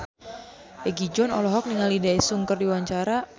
Egi John olohok ningali Daesung keur diwawancara